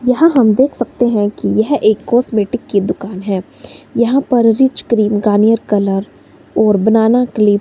यहां हम देख सकते हैं कि यह एक कॉस्मेटिक की दुकान है यहां पर रिच क्रीम गार्नियर कलर और बनाना क्लिप --